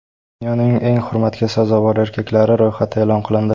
Dunyoning eng hurmatga sazovor erkaklari ro‘yxati e’lon qilindi.